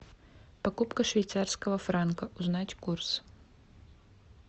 покупка швейцарского франка узнать курс